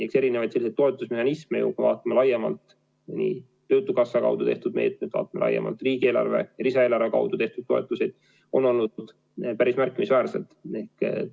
Eks erinevaid toetusmehhanisme, kui vaatame laiemalt nii töötukassa kaudu tehtud meetmeid, riigieelarve ja lisaeelarve kaudu eraldatud toetusi, on olnud päris märkimisväärselt.